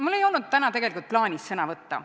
Mul ei olnud täna tegelikult plaanis sõna võtta.